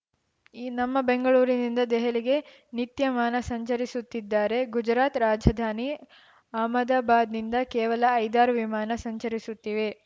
ಈ ನಮ್ಮ ಬೆಂಗಳೂರಿನಿಂದ ದೆಹಲಿಗೆ ನಿತ್ಯ ಮಾನ ಸಂಚರಿಸುತ್ತಿದ್ದರೆ ಗುಜರಾತ್‌ ರಾಜಧಾನಿ ಅಹ್ಮದಾಬಾದ್‌ನಿಂದ ಕೇವಲ ಐದಾರು ವಿಮಾನ ಸಂಚರಿಸುತ್ತಿವೆ